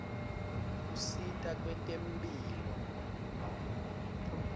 usita kwetemphilo